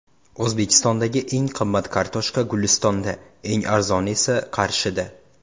O‘zbekistondagi eng qimmat kartoshka Gulistonda, eng arzoni esa Qarshida.